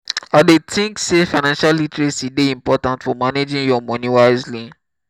i dey think say financial literacy dey important for managing your money wisely.